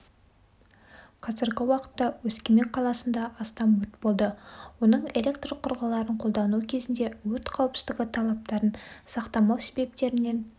қазіргі уақытта өскемен қаласында астам өрт болды оның электрқұрылғыларын қолдану кезінде өрт қауіпсіздігі талаптарын сақтамау себептерінен